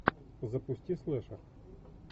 запусти слэшер